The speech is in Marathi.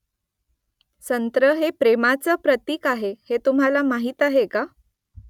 संत्रं हे प्रेमाचं प्रतिक आहे हे तुम्हाला माहीत आहे का ?